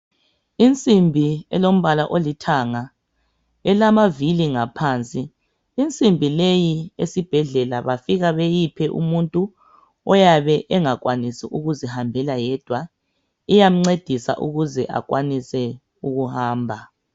Insimbi elombala olithanga, elamavili ngaphansi. Insimbi leyi esibhedlela befika beyiphe umuntu oyabe engakwanisi ukuzihambela yedwa. Iyamcedisa ukuze akwanise ukuhamba.